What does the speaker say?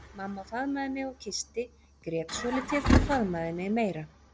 Mamma faðmaði mig og kyssti, grét svolítið og faðmaði mig meira.